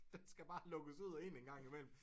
Den skla bare lukkes ud og ind en gang imellem